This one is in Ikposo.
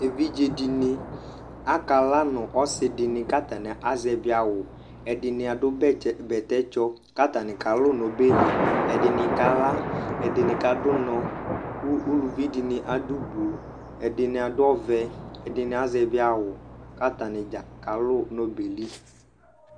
Evidze dɩnɩ akala, nʊ ɔsɩdɩnɩ kʊ atanɩ azɛvɩ awʊ Ɛdɩnɩ adʊ bɛtɛtsɔ kʊ atanɩ kalʊ nʊ ɔbɛli Ɛdɩnɩ kala, ɛdɩnɩ kadʊ ʊnɔ kʊ uluvi dɩnɩ adʊ Blu Ɛdɩnɩ adʊ ɔvɛ, ɩdɩnɩ Azɛvɩ awʊ kʊ atanɩdza kalu nʊ ɔbɛ yɛ li